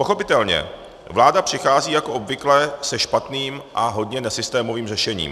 Pochopitelně, vláda přichází jako obvykle se špatným a hodně nesystémovým řešením.